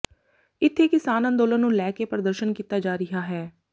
ਇੱਥੇ ਕਿਸਾਨ ਅੰਦੋਲਨ ਨੂੰ ਲੈ ਕੇ ਪ੍ਰਦਰਸ਼ਨ ਕੀਤਾ ਜਾ ਰਿਹਾ ਹੈ